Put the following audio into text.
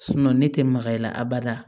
ne tɛ makay'a la a bada